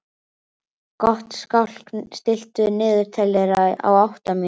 Gottskálk, stilltu niðurteljara á átta mínútur.